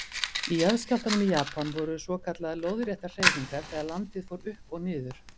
Í jarðskjálftanum í Japan voru svokallaðar lóðréttar hreyfingar þegar landið fór upp og niður.